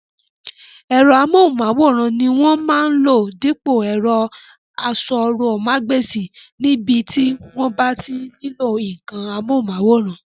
Ẹ̀rọ amóhùnmáwòrán ni wọ́n máa lò dípò ẹ̀rọ asọ̀rọ̀mágbèsì ní ibi tí wọ́n bá ti nílò ǹǹkan amóhùnmáwòrán